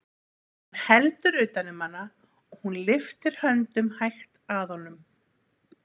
Hann heldur utan um hana og hún lyftir höndum hægt að honum.